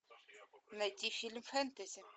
найти фильм фэнтези